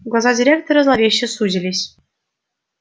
глаза директора зловеще сузились